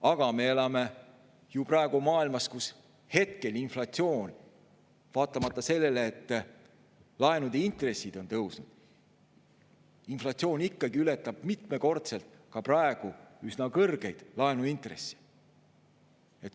Aga me elame ju praegu maailmas, kus hetkel inflatsioon, vaatamata sellele, et laenude intressid on tõusnud, ikkagi ületab mitmekordselt ka praegu üsna kõrgeid laenuintresse.